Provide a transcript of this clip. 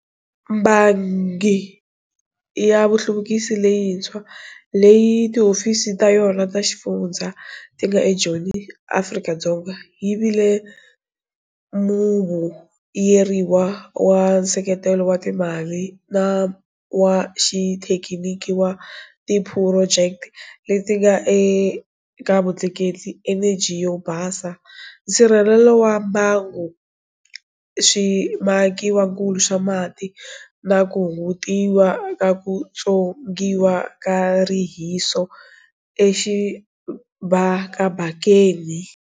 Bangi ya vuhluvukisi Leyintshwa, leyi tihofisi ta yona ta xifundza ti nga eJoni, Afrika-Dzonga yi vile muvuyeriwa wa nseketelo wa timali na wa xithekiniki wa tiphurojeke leti nga eka vutleketli, eneji yo basa, nsirhelelo wa mbangu, swimakiwakulu swa mati na ku hungutiwa ka ku tswongiwa ka rihiso exibakabakeni.